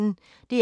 DR P1